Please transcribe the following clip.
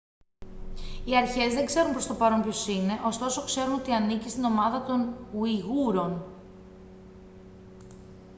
οι αρχές δεν ξέρουν προς το παρόν ποιος είναι ωστόσο ξέρουν ότι ανήκει στην ομάδα των ουιγούρων